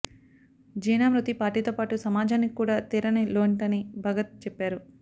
జీనా మృతి పార్టీతోపాటు సమాజానికి కూడా తీరని లోంటని భగత్ చెప్పారు